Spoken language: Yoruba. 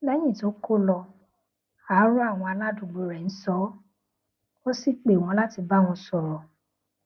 léyìn tó ko lọ àárò àwọn aládùúgbò rè ń sọ ó ó sì pè wón láti bá wọn sòrò